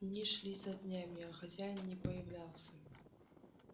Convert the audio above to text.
дни шли за днями а хозяин не появлялся